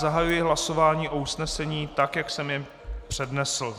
Zahajuji hlasování o usnesení tak, jak jsem je přednesl.